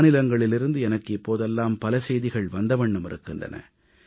மாநிலங்களிலிருந்து எனக்கு இப்போதெல்லாம் பல செய்திகள் வந்த வண்ணம் இருக்கின்றன